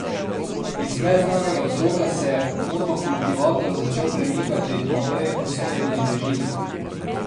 Iz neznanega vzroka se je motokultivator začel premikati naprej po strmi brežini.